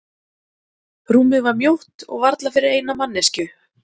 Rúmið var mjótt og varla fyrir eina manneskju.